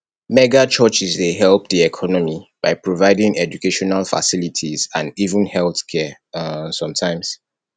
mega churches dey help di economy by providing educational facilities and even healthcare um sometimes